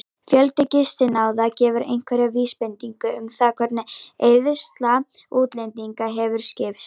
Fjöldi gistinátta gefur einhverja vísbendingu um það hvernig eyðsla útlendinga hefur skipst.